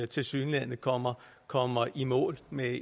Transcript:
tilsyneladende kommer kommer i mål med